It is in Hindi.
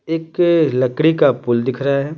एक लकड़ी का पुल दिख रहा है ।